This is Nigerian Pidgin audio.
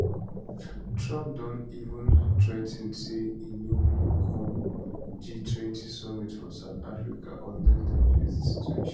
trump don even threa ten say e no go come g20 summit for south africa unless dem fix di situation